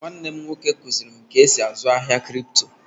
Nwanne m nwoke kụzịrị m ka esi azụ ahia krypto